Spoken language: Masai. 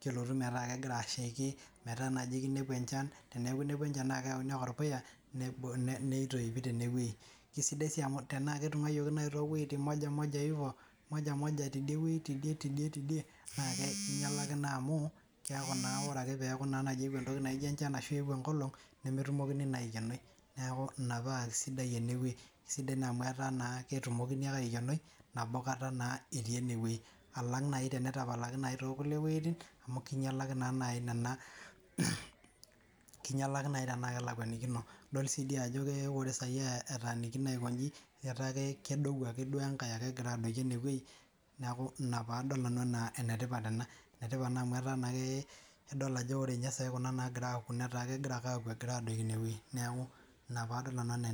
kelotu neku kegira ashaki metaa naji kinepu enchan, teneeku inepua enchan naa keoni ake orpuya, nitoipi tenewoi. Sidai si amu tenaa ketung'ayioki nai towueiting moja moja ivyo moja moja tidie tidie, na kinyalaki naa amu keeku naa ore na peku eewuo entoki naijo enchan ashu eewuo enkolong, nemetumokini naa aikenoi. Neeku ina pa sidai enewoi, sidai na amu etaa naa ketumokini ake aikenoi nabo kata naa etii enewei. Alang nai tenetapalaki nai tonkulie woiting, kinyalaki naa nai nena kinyalaki nai tenaa kelakuanikino. Idol si di ajo ke ore sai etaanikino aikoji, etaa kedou ake duo enkae egira adoki enewoi, neeku ina padol nanu enaa enetipat ena. Enetipat naa amu etaa naa idol ajo ore nye sai kuna nagira aku netaa kegira ake aku egira adoki inewoi. Neeku ina padol nanu enaa enetipat.